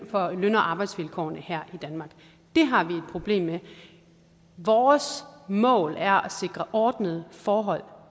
for løn og arbejdsvilkårene her i danmark det har vi et problem med vores mål er at sikre ordnede forhold